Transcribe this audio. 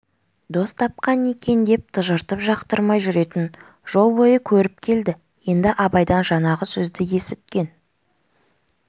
дос тапқан екен деп тыжыртып жақтырмай жүретін жол бойы көріп келді енді абайдан жаңағы сөзді есіткен